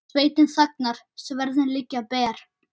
Sveitin þagnar, sverðin liggja ber.